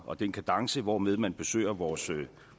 og den kadence hvormed man besøger vores